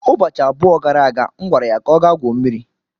Ụbọchị abụọ gara aga, M gwara ya ka ọ gaa gwuo mmiri.